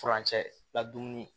Furancɛ la dumuni